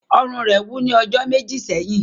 Ọrùn ​​rẹ wú ni ọjọ meji sẹhin.